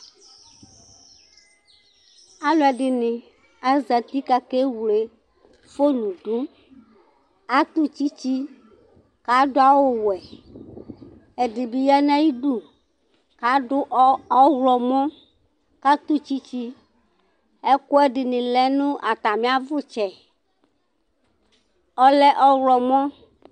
aluɛ dini azati kakewlé fone du atu tchitchi kaduau wʊɛ ɛdibi ya nai du adu ɔylɔmɔ katu tchitchi ɛkuẽ dini lɛ natamiavutchɛ ɔlɛ ɔylɔmɔ